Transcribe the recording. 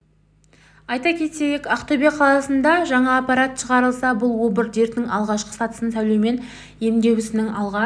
айта кетейік ақтөбе қаласында жаңа аппарат шығарылса бұл обыр дертінің алғашқы сатысын сәулемен емдеу ісінің алға